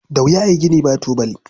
Da wuya a yi gini ba tubali.